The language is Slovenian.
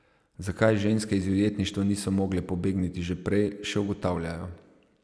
Zakaj ženske iz ujetništva niso mogle pobegniti že prej, še ugotavljajo.